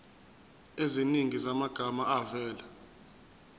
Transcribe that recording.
eziningi zamagama avela